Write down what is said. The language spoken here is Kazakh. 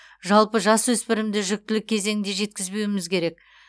жалпы жасөспірімді жүктілік кезеңде жеткізбеуіміз керек